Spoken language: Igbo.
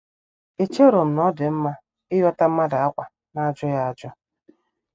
Echerom na-odi mma inyota mmadụ ákwá n'ajughi ajụ.